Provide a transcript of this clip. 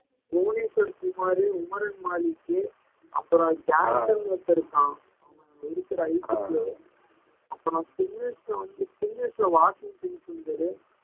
புவனேஸ்வர் குமார் உமரன் மாலிக் அப்புறம் ஜாக்சன்னு ஒருத்தன் இருக்கான் ஒருத்தர் அப்புறம் spinners ல வந்துட்டு spinners ல வாஷிங்டன் சுந்தர்